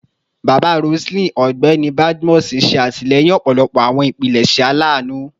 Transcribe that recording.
Baba Roseline, Ọgbẹni Badmus, ṣe atilẹyin ọpọlọpọ awọn ipilẹṣẹ alanu